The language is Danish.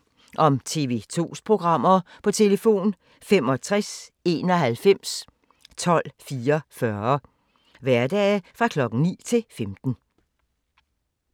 Information om TV 2's programmer: 65 91 12 44, hverdage 9-15.